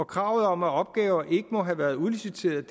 kravet om at opgaver ikke må have været udliciteret